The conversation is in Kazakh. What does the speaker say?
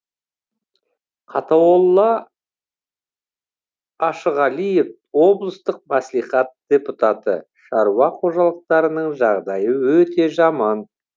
қатауолла ашығалиев облыстық мәслихат депутаты шаруа қожалықтарының жағдайы өте жаман